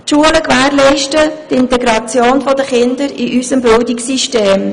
Die Schulen gewährleisten die Integration der Kinder in unserem Bildungssystem.